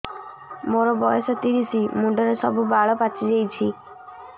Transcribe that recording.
ମୋର ବୟସ ତିରିଶ ମୁଣ୍ଡରେ ସବୁ ବାଳ ପାଚିଯାଇଛି